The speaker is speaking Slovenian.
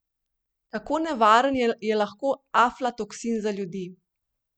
Kako nevaren je lahko aflatoksin za ljudi?